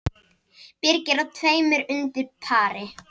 Birgir á tveimur undir pari